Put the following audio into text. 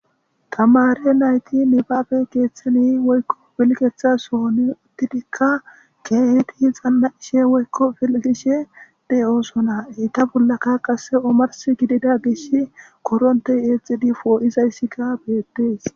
Tamare nayti nibaabe keeththani woykko pilgetha sohoni uttidikka keehidi xana7ishe woykko filgishe de7ooso. Eetta bollaka qasse omarssi gidida gish koronte eexidi pooizayssika beettees.